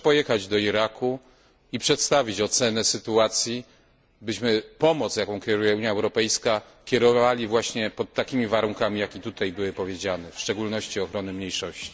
Proszę pojechać do Iraku i przedstawić ocenę sytuacji, tak byśmy pomoc, jaką kieruje Unia Europejska, kierowali właśnie pod takimi warunkami, jakie tutaj zostały przedstawione, w szczególności ochrony mniejszości.